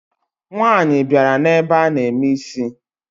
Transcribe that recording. Nwaanyi biara na ebe ana eme isi